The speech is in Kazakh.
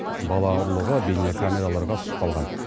бала ұрлығы бейнекамераларға түсіп қалған